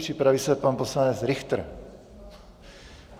Připraví se pan poslanec Richter.